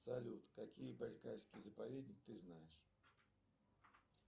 салют какие байкальские заповедники ты знаешь